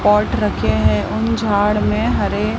और ट्रके हैं उन झाड़ में हरे--